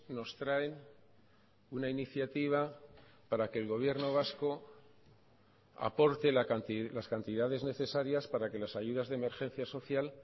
nos traen una iniciativa para que el gobierno vasco aporte las cantidades necesarias para que las ayudas de emergencia social